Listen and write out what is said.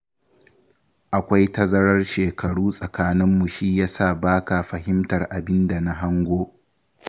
Akwai tazarar shekaru tsakaninmu shi ya sa ba ka fahimtar abin da na hango